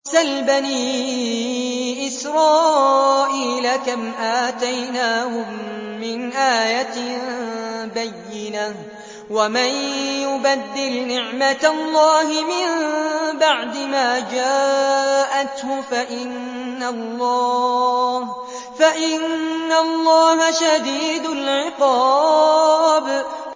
سَلْ بَنِي إِسْرَائِيلَ كَمْ آتَيْنَاهُم مِّنْ آيَةٍ بَيِّنَةٍ ۗ وَمَن يُبَدِّلْ نِعْمَةَ اللَّهِ مِن بَعْدِ مَا جَاءَتْهُ فَإِنَّ اللَّهَ شَدِيدُ الْعِقَابِ